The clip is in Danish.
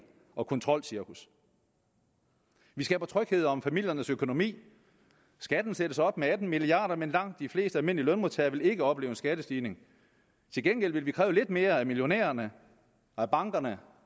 og kontrolcirkus vi skaber tryghed om familiernes økonomi skatten sættes op med atten milliard kr men langt de fleste almindelige lønmodtagere vil ikke opleve en skattestigning til gengæld vil vi kræve lidt mere af millionærerne af bankerne